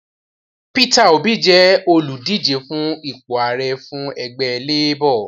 Peter Obi jẹ́ olùdíje fún ipò Ààrẹ fún ẹgbẹ Labor